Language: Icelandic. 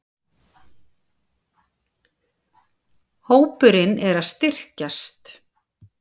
Hópurinn er að styrkjast.